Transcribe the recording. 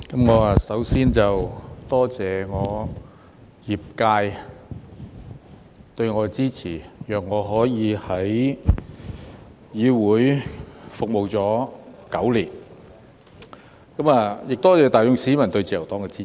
我首先多謝我的業界對我的支持，讓我可以在議會服務了9年，我亦多謝大眾市民對自由黨的支持。